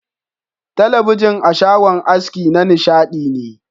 Talabijin a shagon aski na nishadi ne.